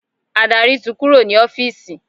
Adarí ti kúrò ní ọ́fìsì.